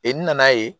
E nana ye